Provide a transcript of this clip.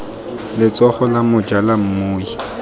letsogo la moja la mmui